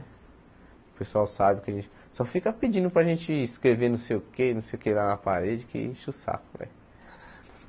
O pessoal sabe que a gente... Só fica pedindo para a gente escrever não sei o quê não sei o quê lá na parede que enche o saco né.